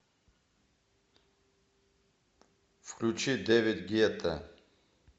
включи дэвид гетта